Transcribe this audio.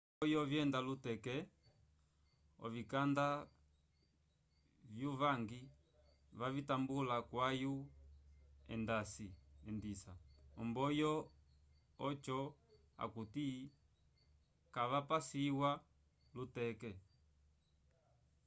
vo mboyo vyenda luteke ovikanda vyu vangi vavitambula kwayu endisa omboyo ojo akuti kavapaswisa luteke